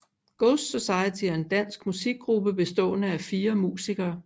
Ghost Society er en dansk musikgruppe bestående af fire musikere